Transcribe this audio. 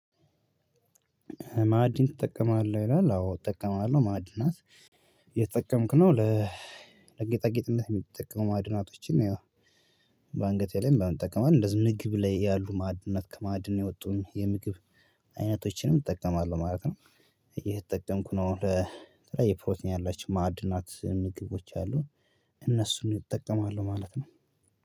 ማዕድን ትጠቀማለህ? ይላል። አዎ እጠቀማለሁ ማዕድናት እየተጠቀምክ ነው። ለጌጥነት የሚጠቅሙ ማዕድናቶችን ያው በአንገቴ ላይ እጠቀማለሁ። እንደዚሁ ምግብ ላይ ያሉ ማዕድነት ከማዕድን የወጡም የምግብ አይነቶችንም እጠቀማለሁ ማለት ነው። እየተጠቀምኩ ነው። ለተለያየ ፕሮቲን ያላችው ማዕድናት ምግቦች አሉ። እነሱን እጠቀማለሁ ማለት ነው።